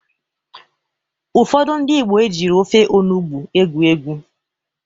Ụfọdụ ndị Igbo ejiro ofe onugbo egwu egwu.